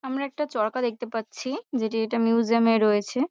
আমরা একটা চরকা দেখতে পাচ্ছি যেটি এটা মিউজিয়াম -এ রয়েছে।